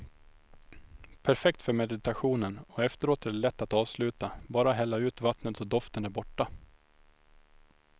Perfekt för meditationen och efteråt är det lätt att avsluta, bara hälla ut vattnet och doften är borta.